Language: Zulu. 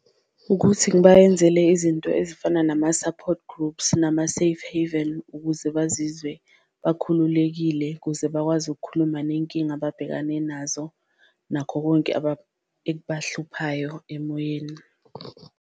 Ukuthi ngibayenzele izinto ezifana nama-support groups nama-safe heaven ukuze bazizwe bakhululekile, ukuze bakwazi ukukhuluma nenkinga ababhekane nazo nakho konke ekubahluphayo emoyeni.